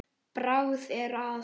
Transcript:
Bragð er að.